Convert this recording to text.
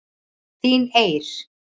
Þín Eir.